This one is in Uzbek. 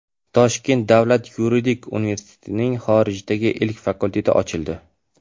Toshkent davlat yuridik universitetining xorijdagi ilk fakulteti ochildi.